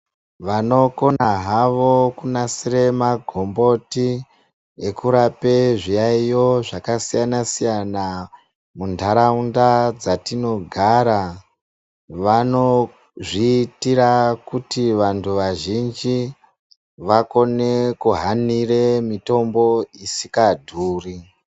Vanokona havo kunasira magomboti ekurape zviyaiyo zvakasiyana siyana muntaraunda dzatinogara vanozviitira kuti vantu vazhinji vakone kukone kuhanira mitombo isinga dhuri.